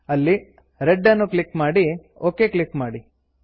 ಅಲ್ಲಿ ರೆಡ್ ಅನ್ನು ಕ್ಲಿಕ್ ಮಾಡಿ ಒಕ್ ಕ್ಲಿಕ್ ಮಾಡಿ